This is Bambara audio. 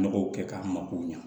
Nɔgɔ kɛ k'an mako ɲa